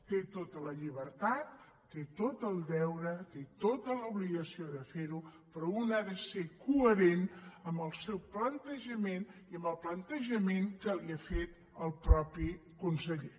té tota la llibertat té tot el deure té tota l’obligació de fer ho però un ha de ser coherent amb el seu plantejament i amb el plantejament que li ha fet el mateix conseller